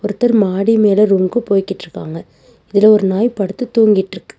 ஒருத்தர் மாடி மேல ரூம்க்கு போய்கிட்ருக்காங்க இதுல ஒரு நாய் படுத்து தூங்கிட்டுருக்கு.